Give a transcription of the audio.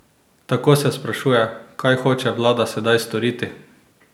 Tako se sprašuje: "Kaj hoče vlada sedaj storiti?